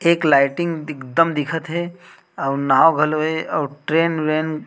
एक लाइटिंग एकदम दिखत हे आऊ नाव घलो हे आऊ ट्रेन व्रेन--